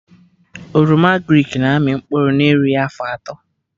Oroma agrịk na-amị mkpụrụ na erughị afọ atọ